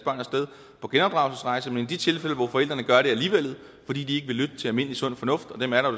sted på genopdragelsesrejse men i de tilfælde hvor forældrene gør det alligevel fordi de ikke vil lytte til almindelig sund fornuft og dem er der